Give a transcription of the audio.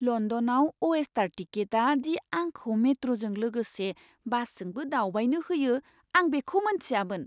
लण्डनआव अइस्टार टिकेटआ दि आंखौ मेट्र'जों लोगोसे बासजोंबो दावबायनो होयो आं बेखौ मोनथियामोन!